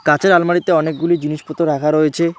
কাঁচের আলমারিতে অনেকগুলি জিনিসপত্র রাখা রয়েছে।